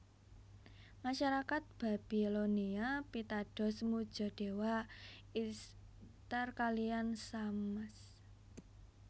Masarakat Babilonia pitados muja dewa Isthar kaliyan Shamash